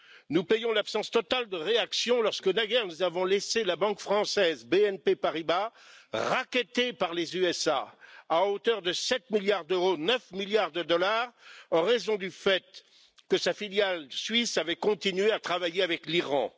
Nous payons l'absence totale de réaction lorsque naguère, nous avons laissé la banque française BNP Paribas être rackettée par les États Unis à hauteur de 7 milliards d'euros 9 milliards de dollars en raison du fait que sa filiale suisse avait continué à travailler avec l'Iran.